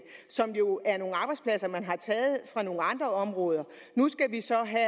som jo er nogle arbejdspladser man har taget fra nogle andre områder og nu skal vi så have